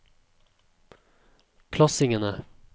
klassingene